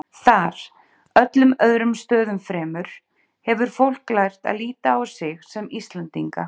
Þar, öllum öðrum stöðum fremur, hefur fólk lært að líta á sig sem Íslendinga.